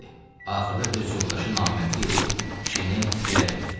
Axırda öz yoldaşı namərdlik edib kişini girə verdi.